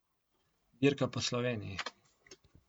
Dirka po Sloveniji.